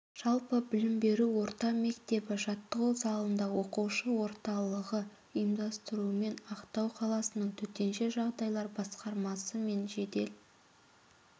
жалпы білім беру орта мектебі жаттығу залында оқушы орталығы ұйымдастыруымен ақтау қаласының төтенше жағдайлар басқармасы менжедел